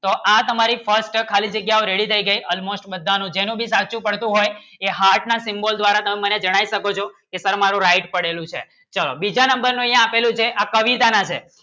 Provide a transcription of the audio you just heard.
તો આ તમારી First જગ્યા ખાલી Ready થઇ ગઈ Almost બધાનું જેનું ભી સાચો પડતો હોય એ Heart ના Symbol દ્વારા તમે મને જણાય શકો છો કે સર મારો Right પડેલું છે સ બીજા નંબર ને એ આપેલું છે આ કવિતાના છે